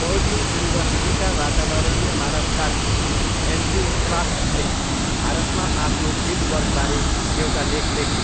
Purdue युनिभर्सिटीका वातावरणीय मानवशास्त्री एन्ड्रयु फ्लाच्सले भारतमा आफ्नो फिल्डवर्कबारे एउटा लेख लेखे।